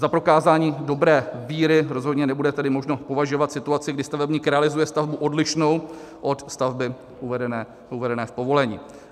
Za prokázání dobré víry rozhodně nebude tedy možno považovat situaci, kdy stavebník realizuje stavbu odlišnou od stavby uvedené v povolení.